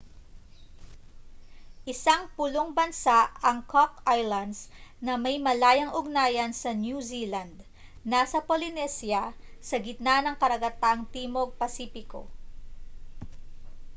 isang pulong bansa ang cock islands na may malayang ugnayan sa new zealand nasa polynesia sa gitna ng karagatang timog pasipiko